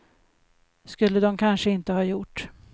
Skulle dom kanske inte ha gjort.